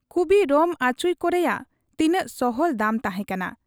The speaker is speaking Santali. ᱠᱩᱵᱤ ᱨᱚᱢᱷᱟᱪᱷᱩᱸᱭ ᱠᱚᱨᱮᱭᱟᱜ ᱛᱤᱱᱟᱹᱜ ᱥᱚᱦᱚᱞ ᱫᱟᱢ ᱛᱟᱦᱮᱸ ᱠᱟᱱᱟ ᱾